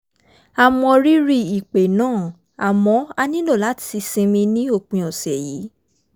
a mọ rírì ìpè náà àmọ́ a nílò láti sinmi ní òpin ọ̀sẹ̀ yìí